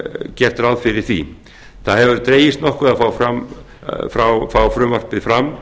gert ráð fyrir því það hefur dregist nokkuð að fá frumvarpið fram